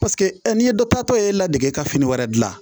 Paseke n'i ye dɔ tatɔ ye la degee ka fini wɛrɛ dilan